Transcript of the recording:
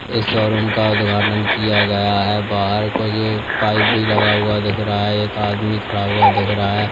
इस शोरूम का उद्घाटन किया गया हैं बाहर कुछ पाइप भी लगा हुआ दिख रहा है एक आदमी खड़ा हुआ दिख रहा है।